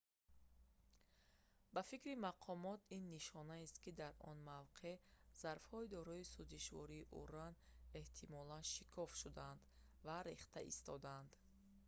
ба фикри мақомот ин нишонаест ки дар он мавқеъ зарфҳои дорои сӯзишвории уран эҳтимолан шикоф шуданд ва рехта истодаанд